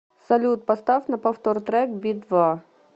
салют поставь на повтор трек би два